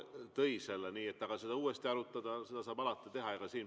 Teatavasti ELAK ka tõi, ja seda saab alati uuesti arutada.